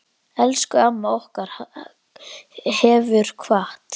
Elsku amma okkar hefur kvatt.